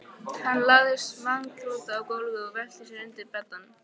Hann lagðist magnþrota á gólfið og velti sér undir beddann.